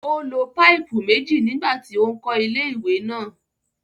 Ó lo páìpù méjì nígbà tí ó ń kọ́ ilé-ìwẹ̀ náà.